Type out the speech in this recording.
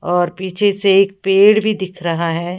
और पीछे से एक पेड़ भी दिख रहा है।